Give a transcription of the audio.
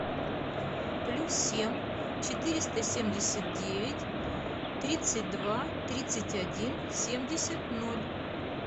плюс семь четыреста семьдесят девять тридцать два тридцать один семьдесят ноль